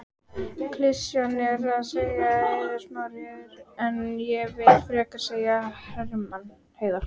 Klisjan er að segja Eiður Smári en ég vill frekar segja Hermann Hreiðarsson.